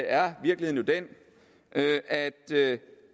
er virkeligheden jo den at at